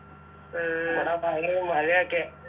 ഇവിട ഭയങ്കരം മഴയൊക്കെ